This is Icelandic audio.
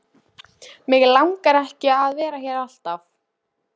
Mig langar ekki að vera alltaf hér.